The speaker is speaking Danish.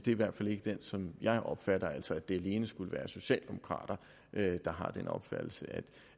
i hvert fald ikke er sådan jeg opfatter dem altså at det alene skulle være socialdemokrater der har den opfattelse at